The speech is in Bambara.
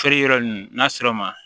Feere yɔrɔ ninnu n'a sera ma